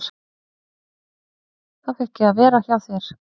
Þá fékk ég að vera hjá þér.